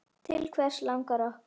Til hvers langar okkur?